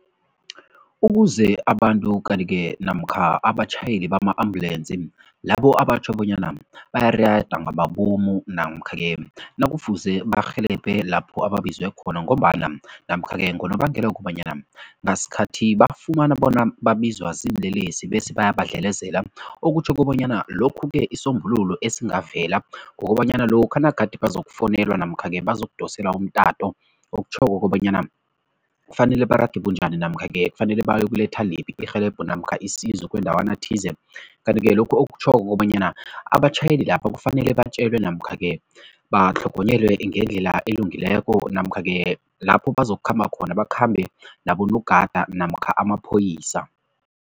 Ukuze abantu kanti-ke namkha abatjhayeli bama-ambulensi, labo abatjho bonyana bayirada ngamabomu namkha-ke nakufuze barhelebhe lapho babizwe khona ngombana namkha-ke ngonobangela wokobanyana ngasikhathi bafumana bona babizwa ziinlelesi bese bayabadlelezela okutjho kobanyana lokhu-ke isisombululo esingavela kukobanyana lokha nagade bazokufowunela namkha-ke bazokudoselwa umtato okutjhoko kobanyana kufanele barage bunjani namkha-ke kufanele bayokuletha liphi irhelebho namkha isizo kundawana thize kanti-ke lokhu okutjhoko kobanyana abatjhayeli lapha kufanele batjelwe namkha-ke batlhogonyelwe ngendlela elungileko namkha-ke lapho bazokukhamba khona, bakhambe nabogada namkha amaphoyisa.